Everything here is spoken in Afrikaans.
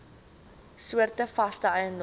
soorte vaste eiendom